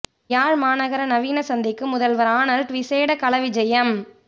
யாழ் மாநகர நவீன சந்தைக்கு முதல்வர் ஆனல்ட் விசேட கள விஜயம்